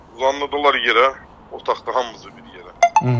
Uzandırdılar yerə, otaqda hamımızı bir yerə.